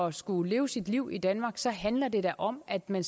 at skulle leve sit liv i danmark så handler det da om at man